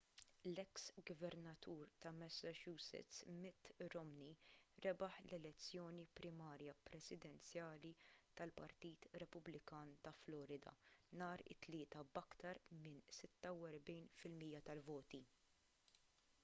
l-eks gvernatur ta' massachusetts mitt romney rebaħ l-elezzjoni primarja presidenzjali tal-partit repubblikan ta' florida nhar it-tlieta b'aktar minn 46 fil-mija tal-voti